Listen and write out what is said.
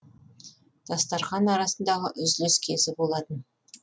дастархан арасындағы үзіліс кезі болатын